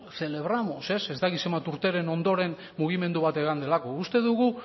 celebramos ez dakit zenbat urteren ondoren mugimendu bat eman delako uste dugu